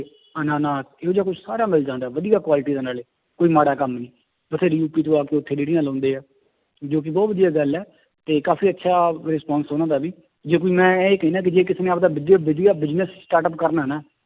ਅੰਨਾਨਾਸ, ਇਹੋ ਜਿਹਾ ਕੁਛ ਸਾਰਾ ਮਿਲ ਜਾਂਦਾ ਹੈ ਵਧੀਆ quality ਦਾ ਨਾਲੇ, ਕੋਈ ਮਾੜਾ ਕੰਮ ਨਹੀਂ, ਬਥੇਰੀ ਰੇੜੀਆਂ ਲਾਉਂਦੇ ਹੈ, ਜੋ ਕਿ ਬਹੁਤ ਵਧੀਆ ਗੱਲ ਹੈ ਤੇ ਕਾਫ਼ੀ ਅੱਛਾ response ਉਹਨਾਂ ਦਾ ਵੀ, ਜੇ ਕੋਈ ਮੈਂ ਇਹ ਕਹਿਨਾ ਕਿ ਜੇ ਕਿਸੇ ਨੇ ਆਪਦਾ ਬਿਜ ਵਧੀਆ business startup ਕਰਨਾ ਨਾ